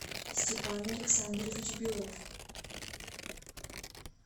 степан александрович белов